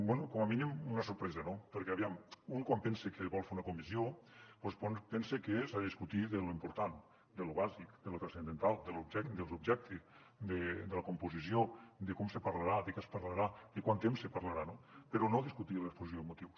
bé com a mínim una sorpresa no perquè aviam un quan pensa que vol fer una comissió doncs pensa que s’ha de discutir de lo important de lo bàsic de lo transcendental de l’objecte de la composició de com se parlarà de què es parlarà de quant temps se parlarà no però no discutir l’exposició de motius